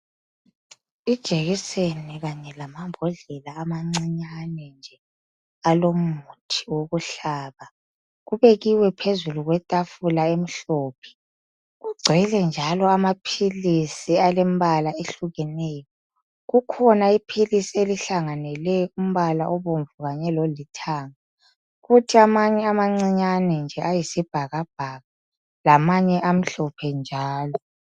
Ijekiseni kanye lamambodlela amancinyane nje alomuthi wokuhlaba kubekiwe phezulu kwetafula emhlophe. Kugcwele njalo amaphilisi alembala ehlukeneyo. Kukhona iphilisi elihlanganele umbala obomvu kanye lolithanga, kuthi amanye amancinyane nje ayisibhakabhaka lamanye amhlophe njalo.